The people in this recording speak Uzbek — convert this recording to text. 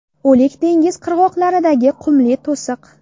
O‘lik dengiz qirg‘oqlaridagi qumli to‘siq.